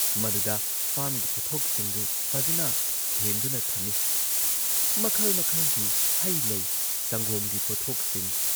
ꯃꯗꯨꯗ ꯐꯥꯔꯝꯒꯤ ꯄꯣꯠꯊꯣꯛꯁꯤꯡꯗꯨ ꯐꯖꯅ ꯊꯦꯟꯗꯨꯅ ꯊꯝꯏ‑ꯃꯈꯜ ꯃꯈꯜꯒꯤ ꯍꯩ ꯂꯩ, ꯁꯪꯒꯣꯝꯒꯤ ꯄꯣꯠꯊꯣꯛꯁꯤꯡ ꯫